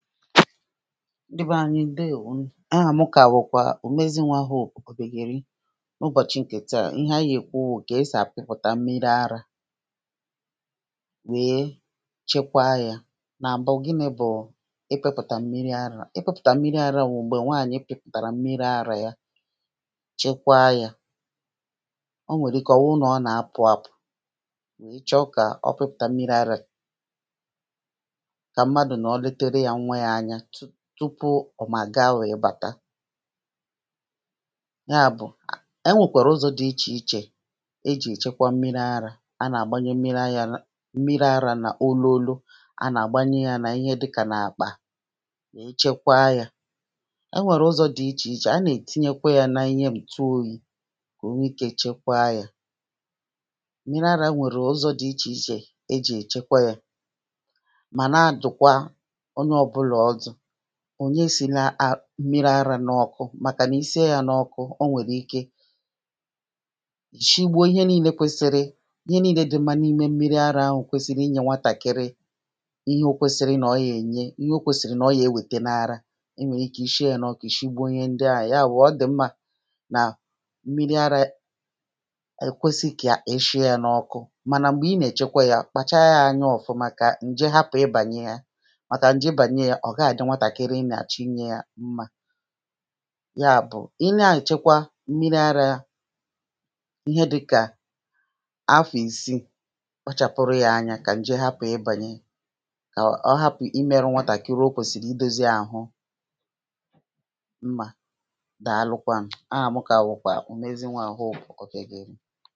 ndi beé ȧnyi̇ ǹdeèwo nu o àmụ kàwụ̀kwà ùmezinwawù pùpùpùpùgèri nà ubọ̀chi ǹkè taà ihe anyi yà èkwuwo kà e sì àpịpụ̀ta mmiri arȧ wee chekwa yȧ nà m̀bụ gini̇ bù i pepùtà mmiri arȧ i pepùtà mmiri arȧ ò m̀gbè nwaànyi pipùtàrà mmiri arȧ ya chekwa yȧ o nwèrè ike ọ̀ wụ nà ọ nà apụ̀ àpụ̀ i chọ̀ kà ọ pipùtà mmiri arȧ tupu ọ̀ mà ga wèe bàta ya bụ̀ enwèkwàrà ụzọ̇ dị ichè ichè ejì èchekwa mmiri arȧ anà àgbanye mmiri arȧ nà ololo anà àgbanye yȧ nà ihe dịkà nà àkpà wèe chekwaa yȧ enwèrè ụzọ̇ dị ichè ichè anà ètinyekwa yȧ nȧ inhe m̀tụ oyi̇ kà o nwe ikė chekwaa yȧ mmiri arȧ e nwèrè ụzọ̇ dị ichè ichè ejì èchekwa yȧ mà na dụ̀kwa ònyè e sì na mmiri arȧ n’ọ̀kụ màkà nà i sie yȧ n’ọ̇kụ̇ ọ nwèrè ike ì shigbò ihe niilė kwesiri ihe niilė dị̇ mmȧ n’ime mmiri arȧ ahụ̇ kwesiri i nyė nwatàkiri ihe o kwesiri nà ọ yà ènye ihe o kwesiri nà ọ yà ewète na ara e nwèrè ike i shie yȧ n’ọkụ ì shigbò ihe ndịà yà àwà ọ dị̀ mmȧ nà mmiri arȧ è kwesidì kà e shie yȧ n’ọ̇kụ̇ mànà m̀gbè i nà è chekwe yȧ kpàchaa yȧ anya ọ̀fụ̀ màkà ǹje hapù i bànyẹ yȧ a ghàji nwàtàkiri ị nà àchi nye yȧ mmȧ ya bù ị nȧ anyị̀ chekwa mmiri arȧ ihe dị̇kà afọ̀ ìsii kpachàpuru yȧ ȧnyȧ kà ǹje hapù i bànyẹ kà ọ hapù i mėrȧ nwàtàkiri o kwèsìrì i dosi àhụ mmȧ dàalukwa ǹ a hà mu kà bùkwà ùmezinwawù ọ̀kù gị̀ rì